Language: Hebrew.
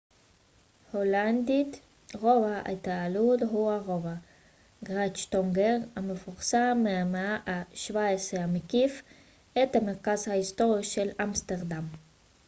רובע התעלות הולנדית: grachtengordel הוא הרובע המפורסם מהמאה ה־17 המקיף את המרכז ההיסטורי binnenstad של אמסטרדם